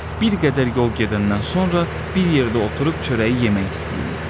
Bir qədər yol gedəndən sonra bir yerdə oturub çörəyi yemək istəyirlər.